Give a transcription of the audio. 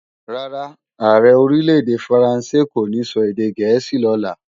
Rárá, Ààrẹ Orílè-èdè Faransé kò ní sọ èdè gẹ̀ẹ́sì lọ́la